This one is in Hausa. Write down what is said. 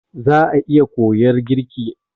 Za'a iya koyar girki.